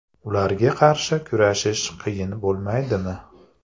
Ularga qarshi kurashish qiyin bo‘lmaydimi?